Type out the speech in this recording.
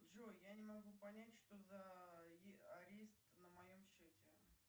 джой я не могу понять что за арест на моем счете